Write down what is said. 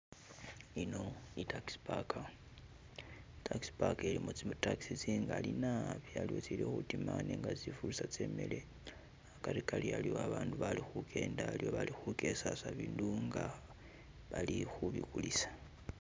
Yino Taxi park taxipark ilimo zi taxi zingali naabi khaliwo tsili khudima nenga tsili khutsa tsimile khagarigari khaliw a baatu bali kugenda haliwo bali khugesasa bibuyu nga balikhubigulisa.